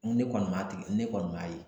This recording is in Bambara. Ne kɔni m'a tigi ne kɔni m'a ye